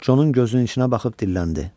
Conun gözünün içinə baxıb dilləndi: